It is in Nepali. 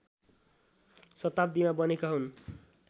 शताब्दीमा बनेका हुन्